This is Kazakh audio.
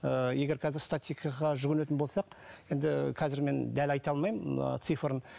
ыыы егер қазір жүгінетін болсақ енді ы қазір мен дәл айта алмаймын ы цифрын